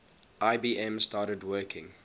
ibm started working